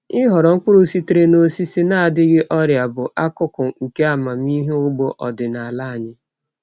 Ịhọrọ mkpụrụ sitere n’osisi na-adịghị ọrịa bụ akụkụ nke amamihe ugbo ọdịnala anyị.